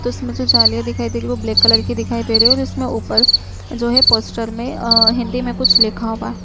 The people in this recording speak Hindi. तो इसमें जो जालियां दिखाई दे रही है वो ब्लैक कलर की दिखाई दे रही है और इसमें ऊपर जो है पोस्टर में अ अ हिंदी में कुछ लिखा हुआ --